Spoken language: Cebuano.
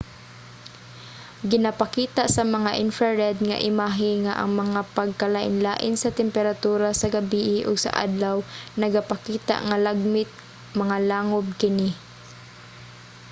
ginapakita sa mga infrared nga imahe nga ang mga pagkalainlain sa temperatura sa gabii ug sa adlaw nagapakita nga lagmit mga langub kini